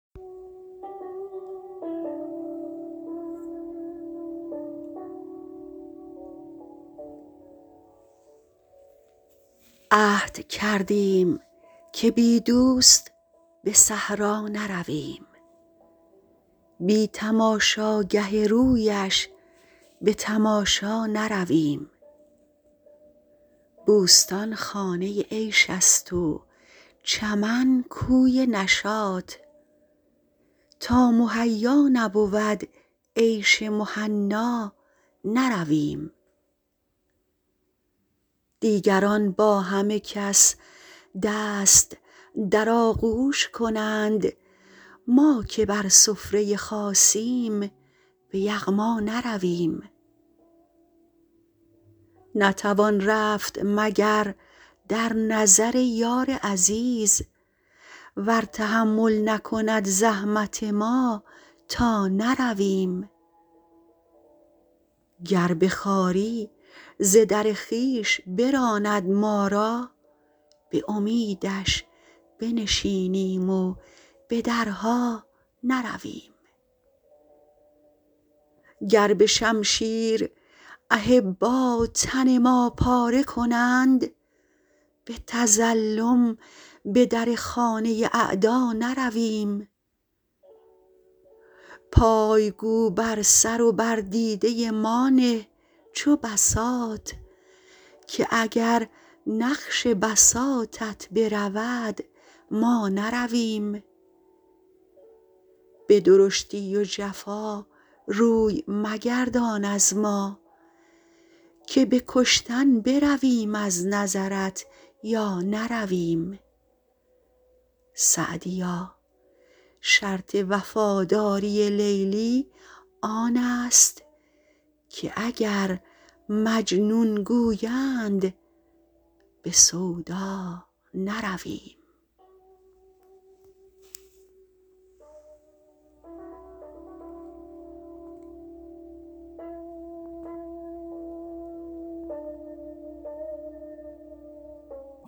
عهد کردیم که بی دوست به صحرا نرویم بی تماشاگه رویش به تماشا نرویم بوستان خانه عیش است و چمن کوی نشاط تا مهیا نبود عیش مهنا نرویم دیگران با همه کس دست در آغوش کنند ما که بر سفره خاصیم به یغما نرویم نتوان رفت مگر در نظر یار عزیز ور تحمل نکند زحمت ما تا نرویم گر به خواری ز در خویش براند ما را به امیدش بنشینیم و به درها نرویم گر به شمشیر احبا تن ما پاره کنند به تظلم به در خانه اعدا نرویم پای گو بر سر و بر دیده ما نه چو بساط که اگر نقش بساطت برود ما نرویم به درشتی و جفا روی مگردان از ما که به کشتن برویم از نظرت یا نرویم سعدیا شرط وفاداری لیلی آن است که اگر مجنون گویند به سودا نرویم